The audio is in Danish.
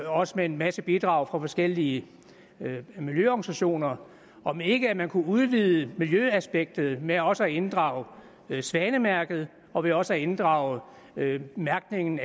også med en masse bidrag fra forskellige miljøorganisationer om ikke man kunne udvide miljøaspektet ved også at inddrage svanemærket og ved også at inddrage mærkningen